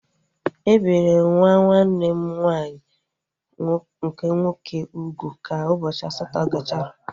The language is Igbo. E biri nwa nwanne m nwaanyị nke nwoke ugwu ka ụbọchị asatọ gachara